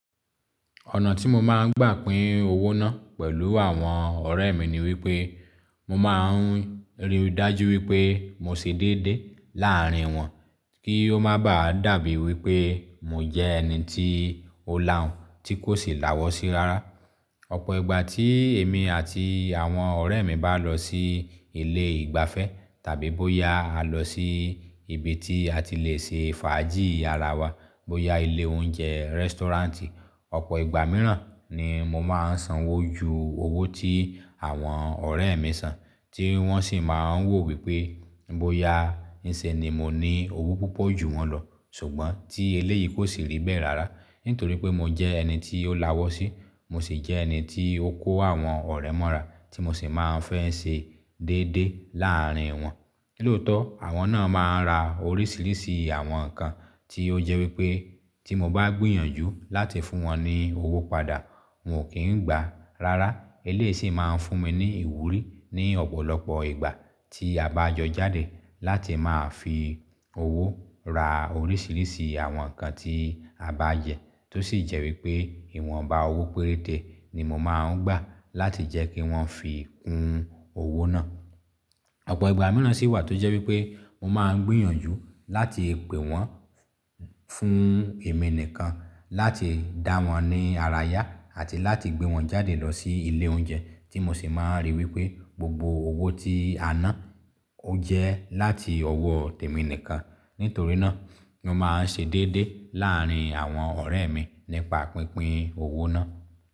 Ọ̀nà tí mo máa ń gbà pin owó náà pẹ̀lú àwọn ọ̀rẹ́ mi ni wípé, mo máa ń rí i dájú wípé mo ṣe dédé láàárín wọn kí ó máa bà á dàbí wípé mo jẹ́ ẹni tí ó làhùn tí kò sì làwọ̀sí rárá. Ọ̀pọ̀ ìgbà tí èmi àti àwọn ọ̀rẹ́ mi bá lọ sí ilé ìgbafẹ́ tàbí bóyá a lọ sí ibi tí a ti lè ṣe fàájì ara wa, bóyá ilé oúnjẹ, restaurant. Ọ̀pọ̀ ìgbà mìíràn ni mo máa ń sanwó ju owó tí àwọn ọ̀rẹ́ mi san, tí wọ́n sì máa ń wò wípé bóyá n ìṣe ni mo ní owó púpọ̀ ju wọn lọ. Ṣùgbọ́n tí eléyìí kò sì rí bẹ́ẹ̀ rárá nítorí pé mo jẹ́ ẹni tí ó làwọ̀sí, mo sì jẹ́ ẹni tí ó kó àwọn ọ̀rẹ́ mọ́ra tí mo sì máa ń fẹ́ ṣe dédé láàárín wọn. Lóòótọ́ àwọn náà máa ń ra oríṣiríṣi àwọn nǹkan tí ó jẹ́ wípé tí mo bá gbìyànjú láti fún wọn ní owó padà wọn ò kí ń gbà. Rárá eléyìí sì máa ń fún mi ní ìwúrí ní ọ̀pọ̀lọpọ̀ ìgbà tí a bá jọ jáde láti máa fi owó ra oríṣiríṣi àwọn nǹkan tí a bá jẹ tó sì jẹ́ wípé ìwọ̀nba owó péréte ni mo máa ń gbà láti jẹ́ kí wọ́n fi kún owó náà. Ọ̀pọ̀ ìgbà mìíràn sì wà tó jẹ́ wípé mo máa ń gbìyànjú láti pè wọ́n fún èmi nìkan láti dá wọn ní ara yá àti láti gbé wọn jáde lọ sí ilé oúnjẹ tí mo sì máa ń rí i wípé gbogbo owó tí a ná ó jẹ́ láti ọwọ́ tèmi nìkan. Nítorí náà mo máa ń ṣe dédé láàárín àwọn ọ̀rẹ́ mi nípa pínpín owó náà.